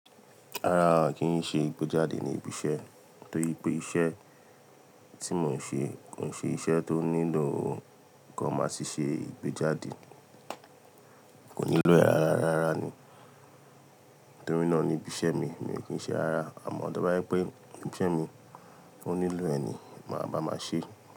Rárá kí n ṣe ìgbéjáde ní ibi iṣẹ́ torí pé iṣẹ́ tí mò ń ṣe kò n ṣe iṣẹ́ tó nílò k'oma sì ṣe ìgbéjáde. Kò nílò e rárá ní torí náà ní ibi iṣẹ́ mi mi ò kí n ṣe ara àmọ̀ tí bá rí pé ibi iṣẹ́ mi ó nílò ẹni máa bá máa ṣe.